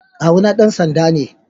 kawu na dansanda me.